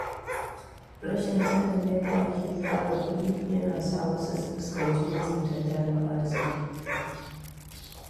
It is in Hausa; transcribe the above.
Rashin sanin yadda ake tsara kudi yana sa wasu su fuskanci matsin tattalin arziki.